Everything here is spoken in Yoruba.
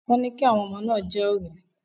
Wọ́n ní kí àwọn ọmọ náà jẹ́ ọ̀rẹ́.